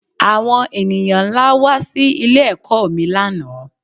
Àwon ènìyàn nlá wá sí ilé ẹ̀kọ́ mi lánàá